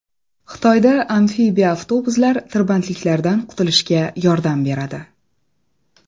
Xitoyda amfibiya-avtobuslar tirbandliklardan qutulishga yordam beradi .